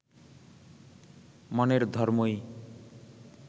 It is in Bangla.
মনের ধর্মই